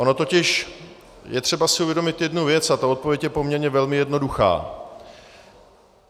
Ono totiž je třeba si uvědomit jednu věc a ta odpověď je poměrně velmi jednoduchá.